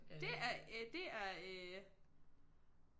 Det er øh det er øh